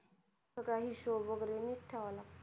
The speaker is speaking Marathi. सगळं हिशोब वगैरे नीट ठेवावा लागतो.